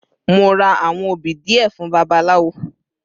Mo ra àwọn obì díẹ̀ fún babaláwo.